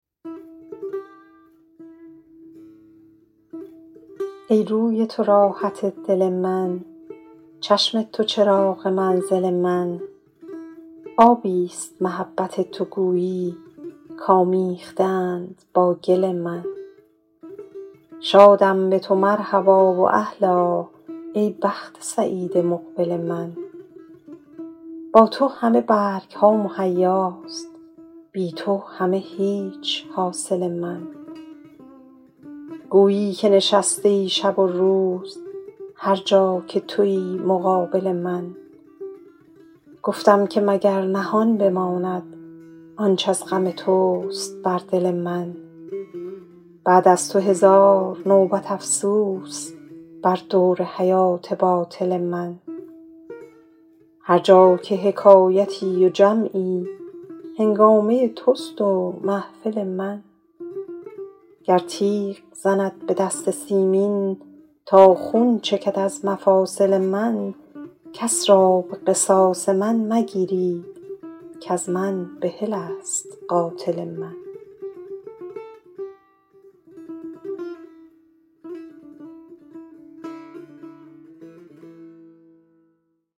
ای روی تو راحت دل من چشم تو چراغ منزل من آبی ست محبت تو گویی کآمیخته اند با گل من شادم به تو مرحبا و اهلا ای بخت سعید مقبل من با تو همه برگ ها مهیاست بی تو همه هیچ حاصل من گویی که نشسته ای شب و روز هر جا که تویی مقابل من گفتم که مگر نهان بماند آنچ از غم توست بر دل من بعد از تو هزار نوبت افسوس بر دور حیات باطل من هر جا که حکایتی و جمعی هنگامه توست و محفل من گر تیغ زند به دست سیمین تا خون چکد از مفاصل من کس را به قصاص من مگیرید کز من بحل است قاتل من